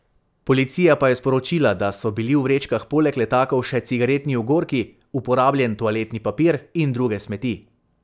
Policija pa je sporočila, da so bili v vrečkah poleg letakov še cigaretni ogorki, uporabljen toaletni papir in druge smeti.